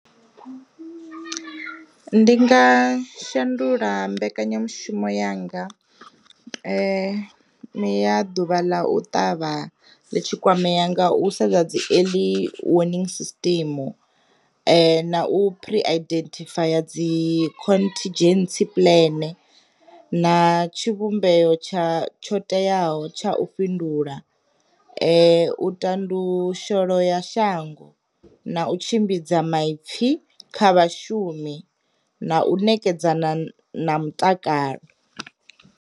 Ndi nga shandula mbekanyamushumo yanga ya ḓuvha ḽa u ṱavha ḽi tshi kwamea nga u sedza dzi eḽi winning system, na u pre identhifaya dzi khonthidzhensi puḽene na tshi vhumbeyo tsha tsho teaho tsha u fhindula, u tandu sholo ya shango, na u tshimbidza maipfi kha vhashumi, na u nekedza na na mutakalo.